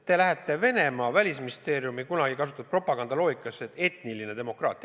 Te laskute Venemaa välisministeeriumi, kunagi kasutatud propaganda loogikasse, et on etniline demokraatia.